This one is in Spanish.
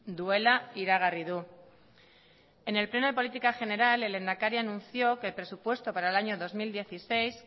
duela iragarri du en el pleno de política general el lehendakari anunció que el presupuesto para el año dos mil dieciséis